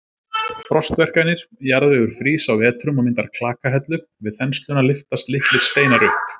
Frostverkanir: Jarðvegur frýs á vetrum og myndar klakahellu, við þensluna lyftast litlir steinar upp.